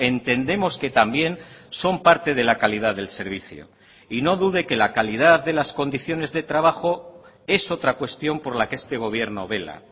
entendemos que también son parte de la calidad del servicio y no dude que la calidad de las condiciones de trabajo es otra cuestión por la que este gobierno vela